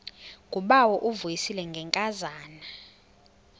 ngubawo uvuyisile ngenkazana